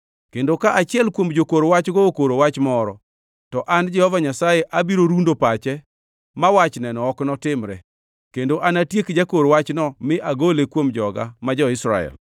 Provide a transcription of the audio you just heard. “ ‘Kendo ka achiel kuom jokor wachgo okoro wach moro, to an Jehova Nyasaye abiro rundo pache, ma wachneno ok notimre, kendo anatiek jakor wachno mi agole kuom joga ma jo-Israel.